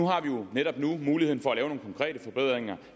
har jo netop nu muligheden for at lave nogle konkrete forbedringer